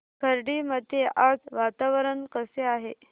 खर्डी मध्ये आज वातावरण कसे आहे